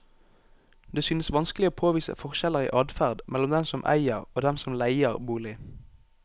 Det synes vanskelig å påvise forskjeller i adferd mellom dem som eier og dem som leier bolig.